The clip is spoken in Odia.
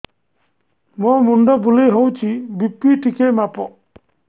ମୋ ମୁଣ୍ଡ ବୁଲେଇ ହଉଚି ବି.ପି ଟିକେ ମାପ